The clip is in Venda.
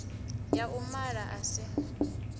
ya u mala a si